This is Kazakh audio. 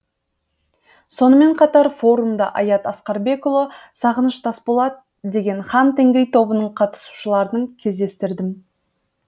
сонымен қатар форумда аят асқарбекұлы сағыныш тасболат деген хан тенгри тобының қатысушыларын кездестірдім